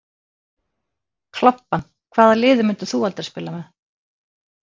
Klobbann Hvaða liði myndir þú aldrei spila með?